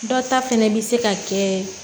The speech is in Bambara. Dɔ ta fɛnɛ bi se ka kɛ